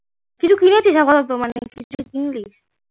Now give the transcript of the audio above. কিছু কিনেছিস আপাদত কিছু কিনবি